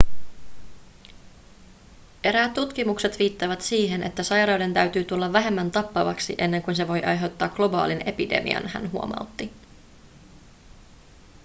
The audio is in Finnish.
eräät tutkimukset viittaavat siihen että sairauden täytyy tulla vähemmän tappavaksi ennen kuin se voi aiheuttaa globaalin epidemian hän huomautti